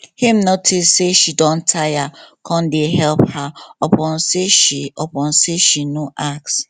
him notice say she don tire come dey help her upon say she upon say she no ask